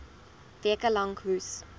weke lank hoes